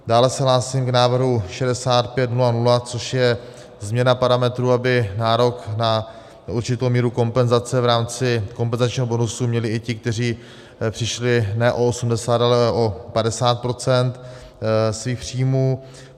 Dále se hlásím k návrhu 6500, což je změna parametru, aby nárok na určitou míru kompenzace v rámci kompenzačního bonusu měli i ti, kteří přišli ne o 80, ale o 50 % svých příjmů.